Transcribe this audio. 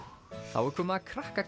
þá er komið að krakka